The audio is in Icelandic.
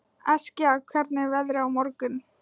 Eskja, hvernig er veðrið á morgun?